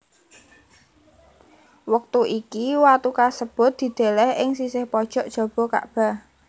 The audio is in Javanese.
Wektu iki watu kasebut dideleh ing sisih pojok jaba Kakbah